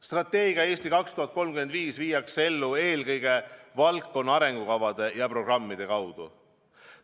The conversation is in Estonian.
Strateegia "Eesti 2035" viiakse ellu eelkõige valdkonna arengukavade ja programmide kaudu.